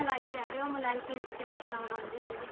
ਮਲਾਈ ਕਹਿ ਰਹੇ ਹੋ ਮਲਾਈ ਕਿਸ ਤਰੀਕੇ ਨਾਲ ਬਣਦੀ ਸੀਗੀ